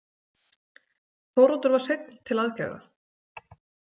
Þóroddur var seinn til aðgerða.